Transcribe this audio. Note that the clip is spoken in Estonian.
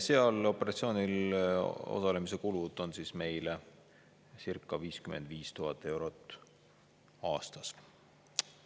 Sellel operatsioonil osalemise kulud on meile circa 55 000 eurot aastas.